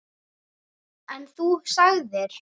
En þú sagðir.